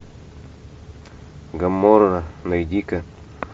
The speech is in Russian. гоморра найди ка